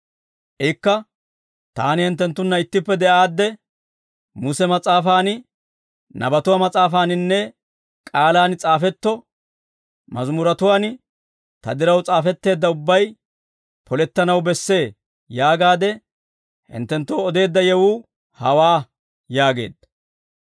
Ikka, «Taani hinttenttunna ittippe de'aadde, ‹Muse mas'aafaan, nabatuwaa mas'aafaaninne k'aalaan s'aafetto mazimuretuwaan ta diraw s'aafetteedda ubbay polettanaw bessee› yaagaade hinttenttoo odeedda yewuu hawaa» yaageedda.